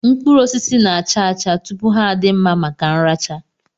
Mkpụrụosisi na-acha acha tupu ha adị mma maka nracha